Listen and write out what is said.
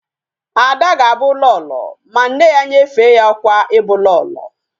Ada ga Abu Lolo, ma nne ya nyefe ya okwa ibu lolo